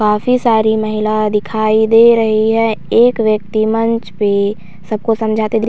काफी सारी महिला दिखाई दे रही है एक व्यक्ति मंच पे सबको समझाते दे --